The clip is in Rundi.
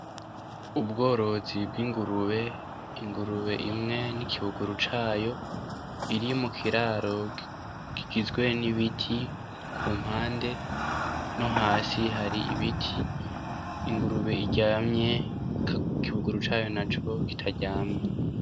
Ubworozi bw’ingurube , ingurube imwe n’ikibuguru cayo , biri mukiraro kigizwe n’ibiti , ku mpande no hasi hari ibiti ingurube iryamye , ikibuguru cayo naco kitaryamye.